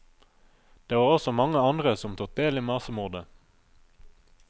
Det var også mange andre som tok del i massemordet.